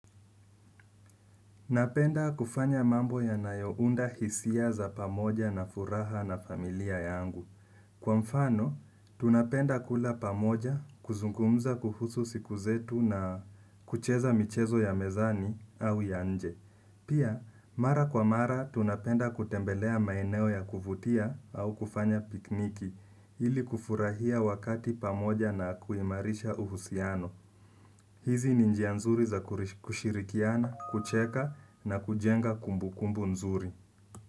Napenda kufanya mambo yanayounda hisia za pamoja na furaha na familia yangu. Kwa mfano, tunapenda kula pamoja, kuzungumza kuhusu siku zetu na kucheza michezo ya mezani au yanje. Pia, mara kwa mara, tunapenda kutembelea maeneo ya kuvutia au kufanya picnic, ili kufurahia wakati pamoja na kuimarisha uhusiano. Hizi ni njia nzuri za kushirikiana, kucheka na kujenga kumbukumbu nzuri.